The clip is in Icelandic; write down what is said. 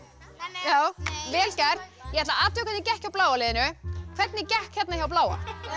já vel gert ég ætla að athuga hvernig gekk hjá bláa liðinu hvernig gekk hérna hjá bláa